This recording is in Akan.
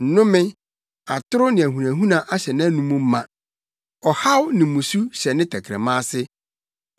Nnome, atoro ne ahunahuna ahyɛ nʼanom ma; Ɔhaw ne mmusu hyɛ ne tɛkrɛma ase.